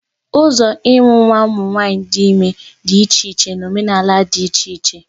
Ụzọ ịmụ nwa ụmụ nwanyị dị ime dị iche na omenala dị iche iche